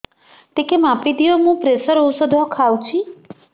ଟିକେ ମାପିଦିଅ ମୁଁ ପ୍ରେସର ଔଷଧ ଖାଉଚି